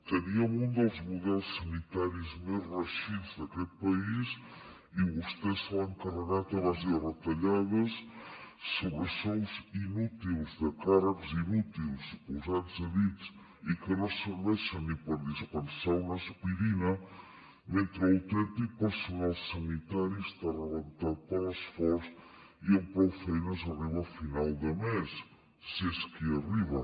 teníem un dels models sanitaris més reeixits d’aquest país i vostès se l’han carregat a base de retallades sobresous inútils de càrrecs inútils posats a dit i que no serveixen ni per dispensar una aspirina mentre l’autèntic personal sanitari està rebentat per l’esforç i amb prou feines arriba a final de mes si és que hi arriba